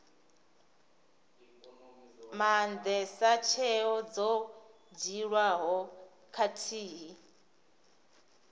maandesa tsheo dzo dzhiiwaho khathihi